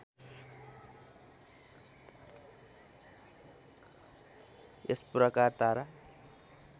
यस प्रकार तारा